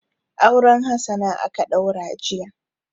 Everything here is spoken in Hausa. Auren Hassana aka ɗaura jiya.